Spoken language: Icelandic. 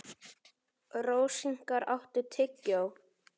Rósinkar, áttu tyggjó?